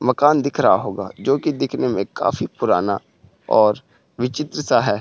मकान दिख रहा होगाजोकि दिखने में काफी पुराना और विचित्र सा है।